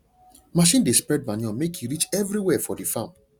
machine dey spread manure make e reach everywhere for the farm